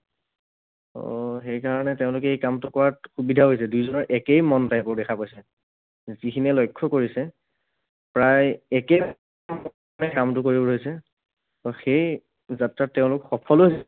ত' সেইকাৰণে তেওঁলোকে এই কামটো কৰাত সুবিধা হৈছে। দুয়োজনৰ একেই মন type ৰ দেখা পাইছে। যিখিনিয়ে লক্ষ্য কৰিছে, প্ৰায় একেই কামটো কৰিব পাৰিছে। আকৌ সেই যাত্ৰাত তেওঁলোকে সফলো হৈছে।